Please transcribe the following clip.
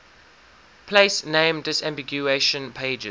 place name disambiguation pages